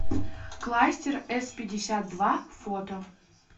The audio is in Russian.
кластер эспятьдесятдва фото